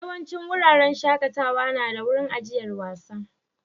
Yawancin wuraren shakatawa na da wurin ajiyar wasa.